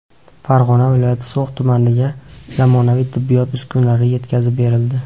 Farg‘ona viloyati So‘x tumaniga zamonaviy tibbiyot uskunalari yetkazib berildi.